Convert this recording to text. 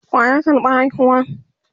waya karɓa haihuwan?